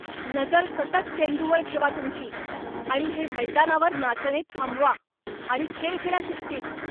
नजर सतत चेंडूवर ठेवा तुमची! आणि हे मैदानावर नाचणे थांबवा आणि खेळ खेळा शिस्तीत.